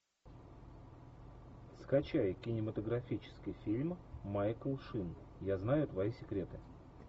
скачай кинематографический фильм майкл шин я знаю твои секреты